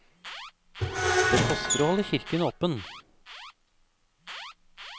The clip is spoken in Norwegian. Det koster å holde kirken åpen.